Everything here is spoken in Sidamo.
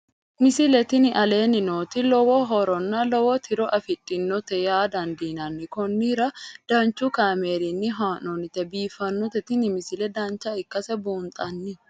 misile tini aleenni nooti lowo horonna lowo tiro afidhinote yaa dandiinanni konnira danchu kaameerinni haa'noonnite biiffannote tini misile dancha ikkase buunxanni